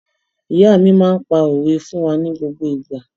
Ìyá mi máa ń pa òwe fún wa ní gbogbo ìgbà.